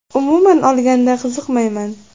Umuman olganda, qiziqmayman.